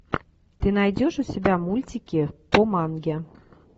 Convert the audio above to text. ты найдешь у себя мультики по манге